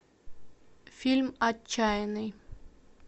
фильм отчаянный